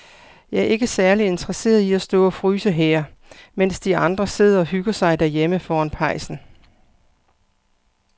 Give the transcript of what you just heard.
Jeg er ikke særlig interesseret i at stå og fryse her, mens de andre sidder og hygger sig derhjemme foran pejsen.